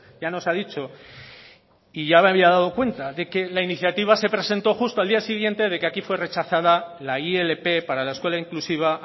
ya nos ha dicho y ya me había dado cuenta de que la iniciativa se presentó justo al día siguiente de que aquí fue rechazada la ilp para la escuela inclusiva